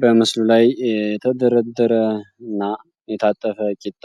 በምስሉ ላይ የተደረደረ እና የታጠፈ ቂጣ